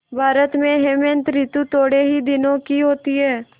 भारत में हेमंत ॠतु थोड़े ही दिनों की होती है